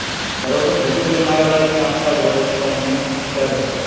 બરોબર. બીજું કઈ મારા લાયક કામકાજ હોય તો મને કહે.